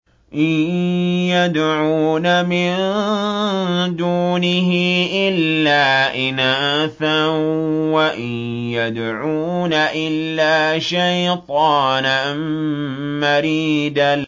إِن يَدْعُونَ مِن دُونِهِ إِلَّا إِنَاثًا وَإِن يَدْعُونَ إِلَّا شَيْطَانًا مَّرِيدًا